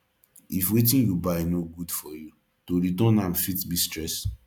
if wetin yu buy no good for yu to return am fit be stress